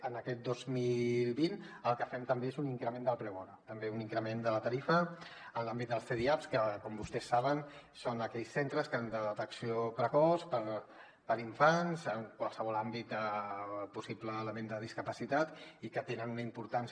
en aquest dos mil vint el que fem també és un increment del preu hora també un increment de la tarifa en l’àmbit dels cdiaps que com vostès saben són aquells centres de detecció precoç per a infants en qualsevol àmbit de possible element de discapacitat i que tenen una importància